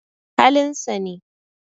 Halin sa ne